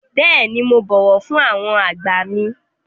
Bẹ́ẹ̀ni, mo bọ̀wọ̀ fún àwọn àgbà mi.